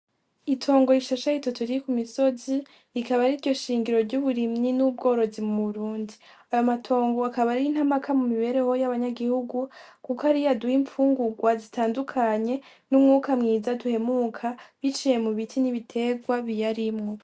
Itongo rishashe ritoto riri ku misozi rikaba ari ryo shingiro ry'uburimyi n'ubworozi mu burundi ayo matongo akaba ari intamaka mu mibereho y'abanyagihugu, kuko ariyo aduha impfungurwa zitandukanye n'umwuka mwiza duhemuka biciye mu biti n'ibiterwa biyarimwo.